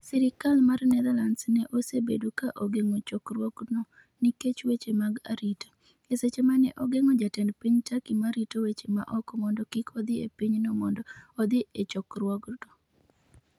Sirkal mar Netherlands ne osebedo ka ogeng’o chokruokno, nikech weche mag arita, e seche ma ne ogeng’o jatend piny Turkey ma rito weche ma oko mondo kik odhi e pinyno mondo odhi e chokruokno.